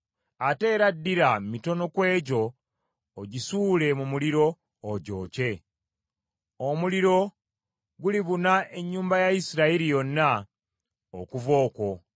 Ate era ddira mitono ku egyo, ogisuule mu muliro, ogyokye. Omuliro gulibuna ennyumba ya Isirayiri yonna okuva okwo.